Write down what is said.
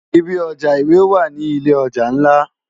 Ibi òjá iwé wá ni ilé òjá nlá